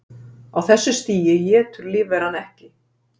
Á þessu stigi étur lífveran ekki.